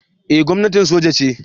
Eh gwamnatin soja ce